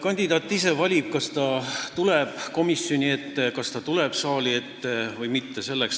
Kandidaat ise valib, kas ta tuleb komisjoni ja saali ette või mitte.